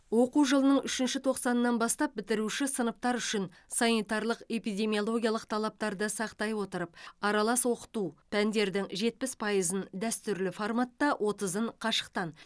оқу жылының үшінші тоқсанынан бастап бітіруші сыныптар үшін санитарлық эпидемиологиялық талаптарды сақтай отырып аралас оқыту пәндердің жетпіс пыйызын дәстүрлі форматта отызын қашықтан